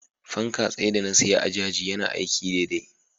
fanka tsaye da na siya a jaji yana aiki daidai.